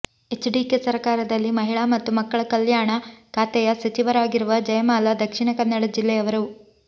HDK ಸರಕಾರದಲ್ಲಿ ಮಹಿಳಾ ಮತ್ತು ಮಕ್ಕಳ ಕಲ್ಯಾಣ ಖಾತೆಯ ಸಚಿವರಾಗಿರುವ ಜಯಮಾಲ ದಕ್ಷಿಣಕನ್ನಡ ಜಿಲ್ಲೆಯವರು